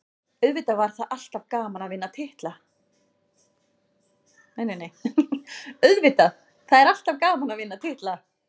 Auðvitað, það er alltaf gaman að vinna titla.